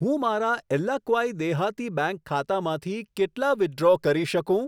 હું મારા એલ્લાક્વાઈ દેહાતી બેંક ખાતામાંથી કેટલા વિથડ્રો કરી શકું?